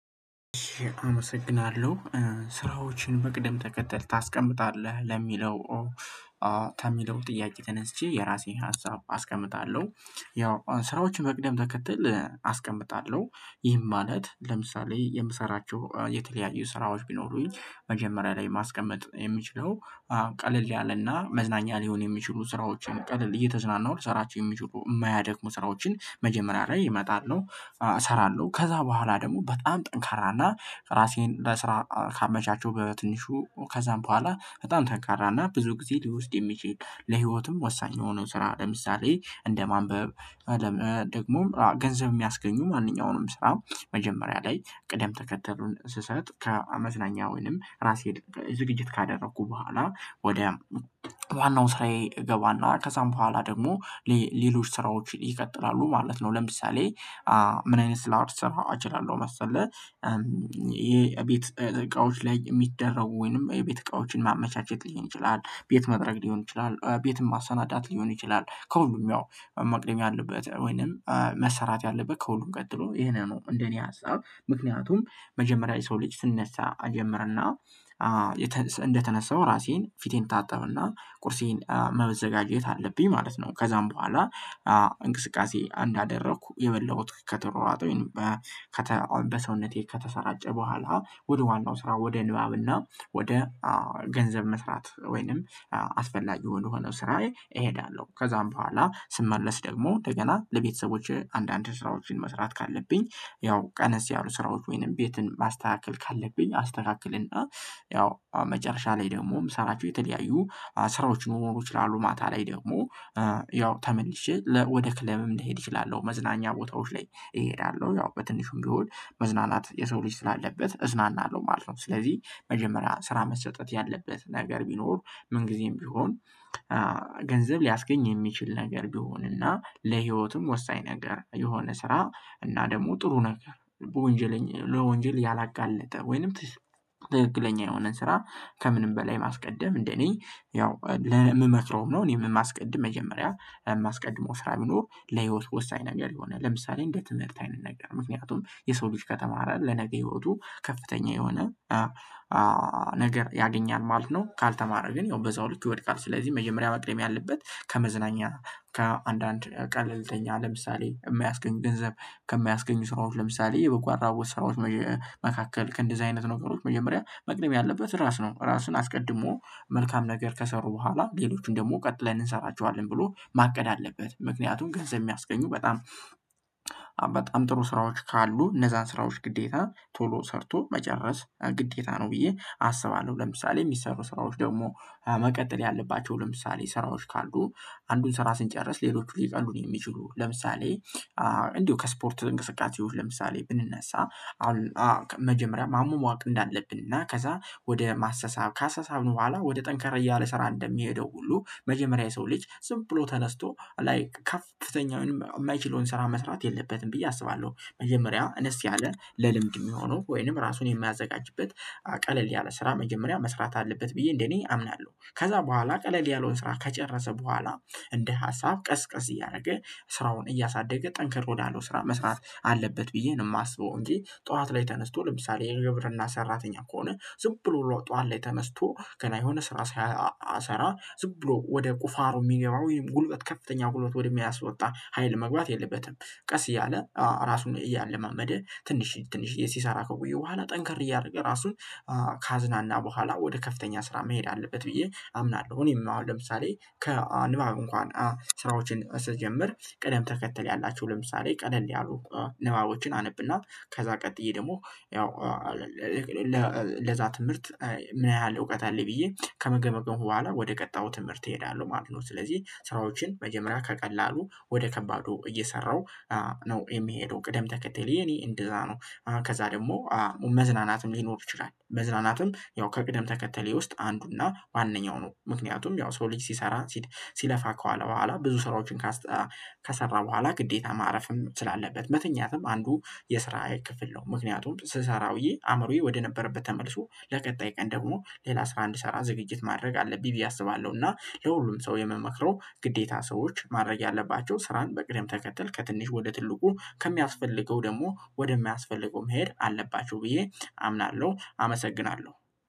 አመሰግናለሁ ስራዎችን በቅደም ተከተል ታስቀምጣለህ ለሚለው ከሚለው ጥያቄ ተነስቼ የራሰን ሀሳብ አስቀምጣለሁ ያው ስራዎች በቅደም ተከተል አስቀምጣለሁ። ይህም ማለት ለምሳሌ የምሰራቸው የተለያዩ ስራዎች ቢኖሩኝ መጀመርያ ላይ ማስቀመጥ የምችለው ቀለል ያለ እና መዝናኛ ሊሆን የሚችሉ ስራዎችን ቅለል እየተዝናናሁ ልሰራቸው የሚችሉ የማያደክሙ ስራዎችን መጀመርያ ላይ የመጣል ነው። እሰራለሁ ከዛ በኋላ ደግሞ በጣም ጠንካራ እና ራሴን ለስራ ካመቻቸሁ በትንሹ ከዛም በኋላ በጣም ጠንካራና ብዙ ጊዜ ሊወስድ የሚችል ለህይወትም ወሳኝ የሆነው ስራ ለምሳሌ እንደ ማንበብ ደግሞ ገንዘብ የሚያስገኙ ማንኛውም ስራ መጀመርያ ላይ ቅደም ተከተሉን ስሰጥ ከመዝናኛ ወይም ራሴ ዝግጅት ካደረኩ ቡሃላ ወደ ዋናው ስራዬ እገባና ከዛም በኋላ ደግሞ ለሎች ስራዎች ይቀጥላሉ ማለት ነው። ለምሳሌ ምን አይነት ስላ ልሰራ እችላለሁ መሰለህ የበት እቃዎችን ላይ የሚደረጉ ወይም የበት እቃዎችን ማመቻቸት ሊሆን ይችላል ቤት መጥረግ ሊሆን ይችላል ቤትን ማሰናዳት ሊሆን ይችላል ከሁሉም ያው መቅደም ያለበት ውይንም መሰራት ያለበት ከሁሉም ቀጥሎ ይሄን ነው እንደ እኔ ሀሳብ ምክንያቱም መጀመርያ የሰው ልጅ ስነሳ እጀምርና እንደተነሳሁ ፊቴን እታጠብ እና ቁርሴን መዘጋጀት አለብኝ ማለት ነው። ከዛም በኋላ እንቅስቃሴ እንዳደረኩ የበላሁት ከተሯሯጠ ወይንም በሰውነቴ ከተሰራጨ በኋላ ወደ ዋናው ስራ ወደ ንባብ እና ወደ ገንዘብ መስራት ወይም አፈላጊ ወደሆነው ስራዬ እሀዳለሁ ከዛም በኋላ ስመለስ ደግሞ እንደገና ለበተሰቦቼ አንዳንድ ስራዎችን መስራት ካለብኝ ያው ቀነስ ያሉ ስራዎች ወይም ቤትን ማስተካከል ካለብኝ አስተካክል እና ያው መጨረሻ ላይ ደግሞ የምሰራቸው የተለያዩ ስራዎች ሊኖሩ ይችላሉ ማታ ላይ ደግሞ ያው ተመልሼ ወደ ክለብም ልሄድ እችላለሁ። መዝናኛ ቦታልዎች ላይ እሄዳለሁ ያው በትንሹም ቢሆን መዝናናት የሰው ልጅ ስላለበት እዝናናለሁ ማለት ነው። ስለዚህ መጀመርያ ስራ መሰጠት ያለበት ነገር ቢኖር ምን ጊዜም ቢሆን ገንዘብ ሊያስገኝ የሚችል ነገር ቢሆንና ለህይወትም ወሳኝ ነገር የሆነ ስራ እና ደግሞ ጥሩ ነገር በወንጀል ለወንጀል ያላጋለጠ ወይም ትክክለኛ የሆነ ስራ ከምንም በላይ ማስቀመደም እንደኔ ያው የምመክረው ነው እኔ የማስቀድም መጀመርያ ማስቀድመው ስራ ቢኖር ለህይወት ወሳኝ ነገር የሆነ ለምሳሌ እንደ ትምህርት አይነት ነገር ምክንያቱም የሰው ልጅ ከተማረ ለነገ ህይወቱ ከፍተኛ የሆነ ነገር ያገኛል ማለት ነው። ካልተማረ ግን ያው በዛው ልክ ይወድቃል። ስለዚህ መጀመርያ መቅደም ያለበት ከመዝናኛ ከአንዳንድ ቀለልተኛ ለምሳሌ የማያስገኙ ገንዘብ ከማያስገኙ ስራዎች ለምሳሌ የበጎ አድራጎት ስራዎች መካከል ከእንደዚህ አይነት ነገሮች መጀመርያ መቅደም ያለበት ራስ ነው። ራስን አስቅድሞ መልካም ነገር ከሰሩ በኋላ ለሎችን ደግሞ ቀጥን እንሰራቸዋለን ብሎ ማቀድ አለበት። ምክንያቱም ገንዘብ የሚያስገኙ በጣም በታም ትሩ ስራዎች ካሉ እነዛን ስራዎች ግዴታ ቶሎ ሰርቶ መጨረስ ግዴታ ነው ብዬ አስባለሁ። ለምሳሌ የሚሰሩ ስራዎች ደግሞ መቀጠል ያለባቸው ለምሳሌ ስራዎች ካሉ አንዱን ስራ ስንጨርስ ለሎች ሊቀሉን የሚችሉ ለምሳሌ እንዲሁ ከስፖርት እንቅስቃሴዎች ለምሳሌ ብንነሳ አሁን መጀመርያ ማሟቅ እንዳለብን እና ከዛ ወደ መሳሳብ ካሳሳብን በኋላ ወደ ተንካራ እያለ እንደሚሄደው ሁሉ መጀመርያ የሰው ልጅ ዝም ብሎ ተነስቶ ልይክ ከፍተኛ ወይንም የማይቻለውን ስራ መስራት የለበትም ብዬ አስባለሁ። መጀመርያ አነስ ያለ ለልምድ የሚሆኑ ወይንም ራሱን የሚያዘጋጁበት ቀለል ያለ ስራ መጀመርያ መስራት አለበት ብዬ እንዴኔ አምናለሁ። ከዛ በሁአላ ቀለል ያለውን ስራ ከጨረሰ በኋላ እንደ ሀሳብ ቀስ ቀስ እያደረገ ስራውን እያሳደገ ተንክር ያለው ስራ መስራት አለበት ብዬ ነው የመአስበው እንጂ ጠዋት ላይ ተነስቶ ለምሳሌ የግብርና ስራተኛ ከሆነ ዝም ብሎ ተዋት ላይ ተነስቶ ገና የሆነ ስራ ሳይሰራ ዝቅ ብሎ ወደ ቁፋሮ የሚገባ ወይም ጉልበት ከፍተኛ ጉልበት ወደሚያስወጣ ሀይል መግባት የለበትም። ቀስ እያለ ራሱን እያለማመደ ትንሽዬ ትንሽዬ ሲሰራ ከቆየ በኋላ ጠንካር እያደረገ ራሱን ካዝናና በኋላ ወደ ከፍተኛው ስራ ምሄድ አለበት ብዬ አምናለሁ እኔም አሁን ለምሳሌ ከንባብ እንኳን ስራዎችን ስትጀምር ቅደም ተከተል ያላቸው ለምሳሌ ቀለል ያሉ ንባቦችን አነብ እና ከዛ ቀጥዬ ደግሞ ያው ለዛ ትምህርት ምን ያህል እውቀት አለኝ ብዬ ከገመገምኩ በኋላ ወደ ቀጣዩ ትምህርት እሄዳለሁ ማለት ነው። ስለዚህ ስራዎችን መጀመርያ ከቀላሉ ወደ ከባዱ እየሰራሁ ነው የምሄደው ቅደም ተከተሌ የኔ እንደዛ ነው። ከዛ ደግሞ መዝናናትም ሊኖር ይችላል። መዝናናትም ያው ከቅደም ተከተሌ ውስጥ አንዱና ዋነኛው ነው። ምክንያቱም የሰው ልጅ ሲሰራ ሲለፋ ከዋለ በኋላ ብዙ ስራዎችን ከሰራ በኋላ ግዴታ ማረፍም ስላለበት መተኛትም አንዱ የስራ ክፍል ነው። ምክንያቱም ስሰራ ውዬ አምሮዬ ወደነበረበት ተመልሶ ለቀጣይ ቀን ደግሞ ሌላ ስራ እንድሰራ ዝግጅት ማድረግ አለብኝ ብዬ አስባለሁ እና ለሁሉም ሰው የምመክረው ግደታ ሰዎች ማድረግ ያለባቸው ስራን በቅደም ተተል ከትንሽ ወደ ትልቁ ከሚያስፈልገው ደግሞ ወደ ማያስፈልገው መሄድ አለባቸው ብዬ አምናለሁ። አመሰግናለሁ።